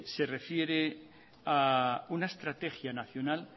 se refiere a una estrategia nacional